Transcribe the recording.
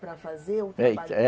para fazer